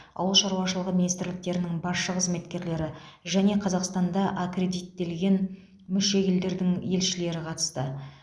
ауыл шаруашылығы министрліктерінің басшы қызметкерлері және қазақстанда аккредиттелген мүше елдердің елшілері қатысты